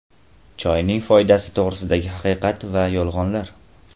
Choyning foydasi to‘g‘risidagi haqiqat va yolg‘onlar.